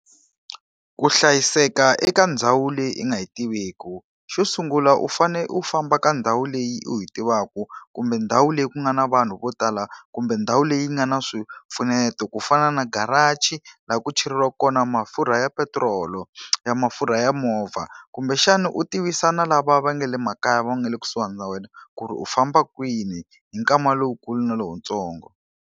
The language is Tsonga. Ku hlayiseka eka ndhawu leyi i nga yi tiveki. Xo sungula u fanele u famba ka ndhawu leyi u yi tivaka, kumbe ndhawu leyi ku nga na vanhu vo tala kumbe ndhawu leyi nga na swipfuneto ku fana na garaji laha ku ku cheriwa kona mafurha ya petirolo ya mafurha ya movha. Kumbexani u tivisa na lava va nga le makaya va nga le kusuhana na wena ku ri u famba kwini hi nkama lowukulu na lowuntsongo.